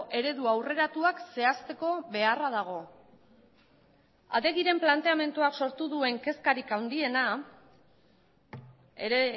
eredua aurreratuak zehaztekobeharra dago adegiren planteamenduak sortu duen kezkarik handiena ere